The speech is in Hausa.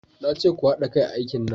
Na ce ku hada kai a aikin nan!